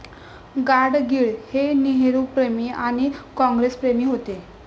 गाडगीळ हे नेहरूप्रेमी आणि काँग्रेसप्रेमी होते.